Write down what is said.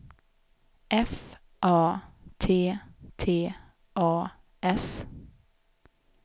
F A T T A S